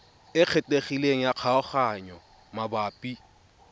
e kgethegileng ya kgaoganyo mabapi